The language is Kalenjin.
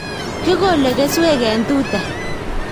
Kikole keswek eng ' tuta